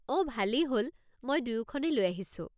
অঁ, ভালেই হ'ল মই দুয়োখনেই লৈ আহিছোঁ।